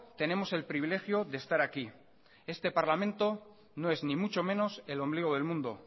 tenemos el privilegio de estar aquí este parlamento no es ni mucho menos el ombligo del mundo